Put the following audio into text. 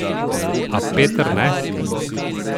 A Peter ne.